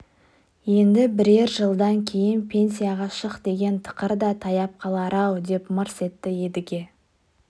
енді бірер жылдан кейін пенсияға шық деген тықыр да таяп қалар-ау деп мырс етті едіге